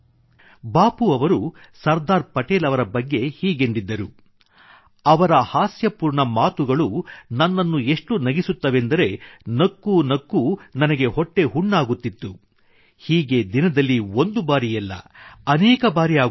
ಬಾಪೂ ಅವರು ಸರ್ದಾರ್ ಪಟೇಲ್ ಅವರ ಬಗ್ಗೆ ಹೀಗೆಂದಿದ್ದರು ಅವರ ಹಾಸ್ಯಪೂರ್ಣ ಮಾತುಗಳು ನನ್ನನ್ನು ಎಷ್ಟು ನಗಿಸುವುದೆಂದರೆ ನಕ್ಕೂ ನಕ್ಕೂ ನನಗೆ ಹೊಟ್ಟೆ ಹುಣ್ಣಾಗುತ್ತಿತ್ತು ಹೀಗೆ ದಿನದಲ್ಲಿ ಒಂದು ಬಾರಿಯಲ್ಲ ಅನೇಕ ಬಾರಿ ಆಗುತ್ತಿತ್ತು